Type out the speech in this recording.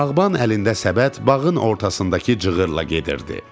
Bağban əlində səbət bağın ortasındakı cığırla gedirdi.